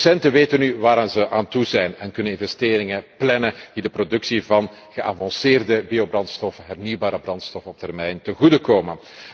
De producenten weten nu waar ze aan toe zijn en kunnen investeringen plannen die de productie van geavanceerde biobrandstof, hernieuwbare brandstof, op termijn ten goede komen.